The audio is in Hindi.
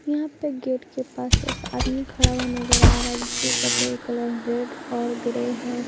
यहां पे गेट के पास एक आदमी खड़ा हुआ नजर आ रहा है जिसके कपड़े कलर रेड और ग्रे है।